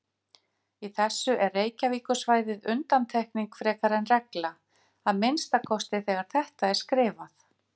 Í þessu er Reykjavíkursvæðið undantekning frekar en regla, að minnsta kosti þegar þetta er skrifað.